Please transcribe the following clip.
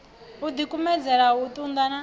u dikumedzele u tunda na